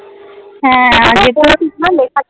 হ্যা